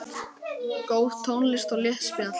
Góð tónlist og létt spjall.